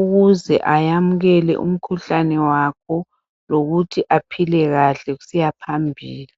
ukuze ayamukele umkhuhlane wakhe lokuthi aphile kahle kusiya phambili.